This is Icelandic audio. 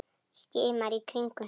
Skimar í kringum sig.